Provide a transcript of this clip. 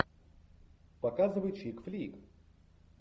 показывай чик флик